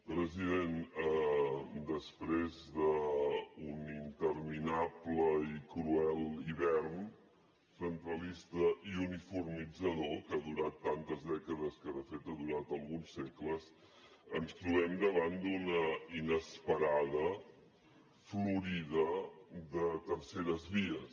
president després d’un interminable i cruel hivern centralista i uniformitzador que ha durat tantes dècades que de fet ha durat alguns segles ens trobem davant d’una inesperada florida de terceres vies